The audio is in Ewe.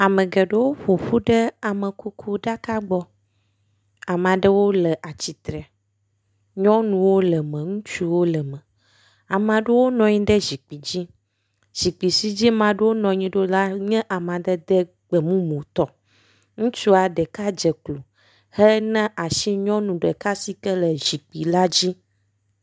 Ame geɖewo ƒo ƒu ɖe amekukuɖaka gbɔ. Amea ɖewo le atsitre. Nyɔnuwo le me ŋutsuwo le me. amea ɖewo nɔnyi ɖe zikpui dzi. Zikpui si dzi mea ɖewo nɔnyi ɖo la nye amadede gbemumutɔ. Ŋutsua ɖeka dze klo hena asi nyɔnu ɖeka si ke le zikpui la dzi.